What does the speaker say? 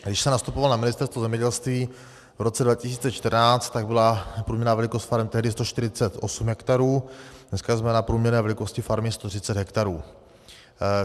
Když jsem nastupoval na Ministerstvo zemědělství v roce 2014, tak byla průměrná velikost farem tehdy 148 hektarů, dneska jsme na průměrné velikosti farmy 130 hektarů.